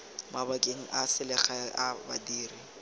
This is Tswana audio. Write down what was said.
mabakeng a selegae a badiri